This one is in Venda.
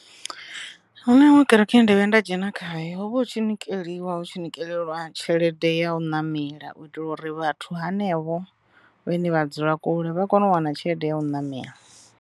Hu na iṅwe kereke ye nda vhuya nda dzhena khayo ho vha hu tshi nikeliwa hu tshi nikeliwa tshelede ya u namela u itela uri vhathu hanevho vhane vha dzula kule vha kone u wana tshelede ya u namela.